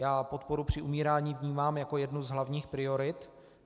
Já podporu při umírání vnímám jako jednu z hlavních priorit.